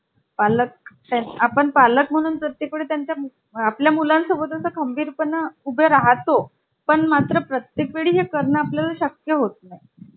असे काही बदल दिवसेंदिवस घडत असतात. आणि आह तुम्हाला माहिती आहे का? laptop चा इतिहास काय आहे? एकोणीस साली ॲलन की या संशोधकाला portable information